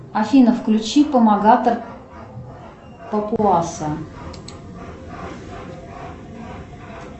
афина включи помогатор папуаса